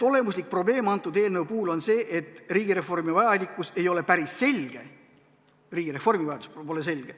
Olemuslik probleem eelnõu puhul on see, et riigireformi vajalikkus ei ole päris selge.